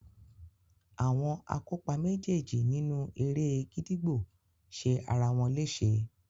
Àwọn akópa méjéèjì nínú eré e gídígbò ṣe ara wọn léṣe.